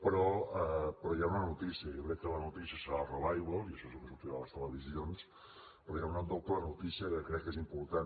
però hi ha una notícia jo crec que la notícia serà el revival i això és el que sortirà a les televisions però hi ha una doble notícia que crec que és important